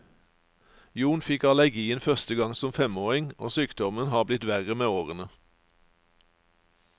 Jon fikk allergien første gang som femåring, og sykdommen har blitt verre med årene.